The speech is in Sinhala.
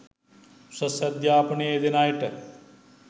උසස් අධ්‍යාපනයේ යෙදෙන අයට